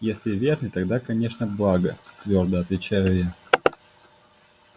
если верный тогда конечно благо твёрдо отвечаю я